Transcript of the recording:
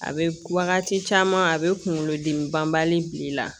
A bɛ wagati caman a bɛ kunkolo dimi banbali bi la